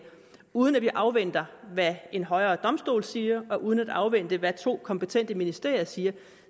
uden at vi afventer hvad en højere domstol siger og uden at afvente hvad to kompetente ministerier siger